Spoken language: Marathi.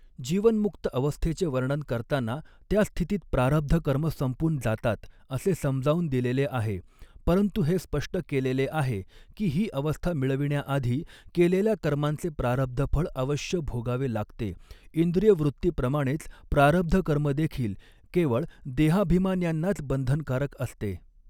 जीवनमुक्त अवस्थेचे वर्णन करताना त्या स्थितीत प्रारब्ध कर्म संपून जातात असे समजावून दिलेले आहे परंतु हे स्पष्ट केलेले आहे की ही अवस्था मिळविण्याआधी केलेल्या कर्मांचे प्रारब्धफळ अवश्य भोगावे लागते इंद्रियवृत्तीप्रमाणेच प्रारब्ध कर्म देखील केवळ देहाभिमान्यांनाच बंधनकारक असते.